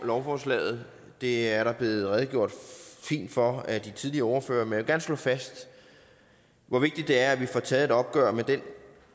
lovforslaget det er der blevet redegjort fint for af de tidligere ordførere men jeg slå fast hvor vigtigt det er at vi får taget et opgør med den